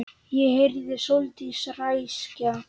Ég heyrði Sóldísi ræskja sig.